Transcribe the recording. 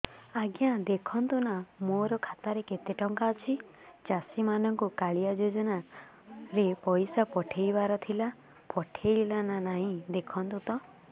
ଆଜ୍ଞା ଦେଖୁନ ନା ମୋର ଖାତାରେ କେତେ ଟଙ୍କା ଅଛି ଚାଷୀ ମାନଙ୍କୁ କାଳିଆ ଯୁଜୁନା ରେ ପଇସା ପଠେଇବାର ଥିଲା ପଠେଇଲା ନା ନାଇଁ ଦେଖୁନ ତ